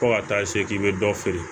Fo ka taa se k'i bɛ dɔ feere